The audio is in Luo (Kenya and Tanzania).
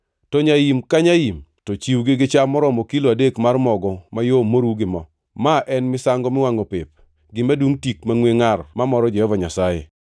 to nyaim ka nyaim, to chiw gi cham maromo kilo adek mar mogo mayom moru gi mo. Ma en misango miwangʼo pep, gima dungʼ tik mangʼwe ngʼar mamoro Jehova Nyasaye.